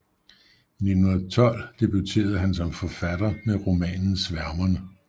I 1912 debuterede han som forfatter med romanen Sværmerne